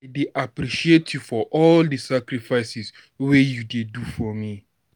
I dey appreciate you for all di sacrifices wey you dey do for me.